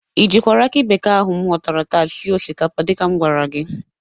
Ị jikwara akị bekee ahụ m ghọtara taa sie osikapa dịka m gwara gị?